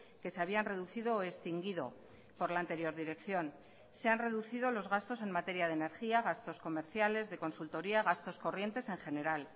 que se habían reducido o extinguido por la anterior dirección se han reducido los gastos en materia de energía gastos comerciales de consultoría gastos corrientes en general